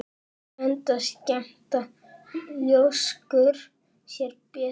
Enda skemmta ljóskur sér betur.